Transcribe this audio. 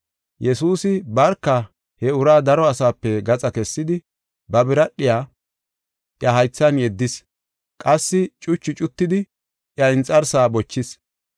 Yesuusi barka he uraa daro asape gaxa kessidi, ba biradhiya iya haythan yeddis. Qassi cuchu cuttidi iya inxarsaa bochis.